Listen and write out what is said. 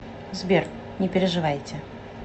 сбер не переживайте